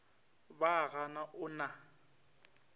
ba a ga o na